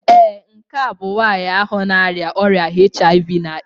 Ee, nke a bụ nwanyị ahụ na-arịa ọrịa HIV/AIDS